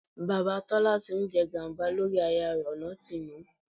Bàbá Tọ́lá tí ń jẹ gàba lórí aya rẹ ọ̀nà ti nà.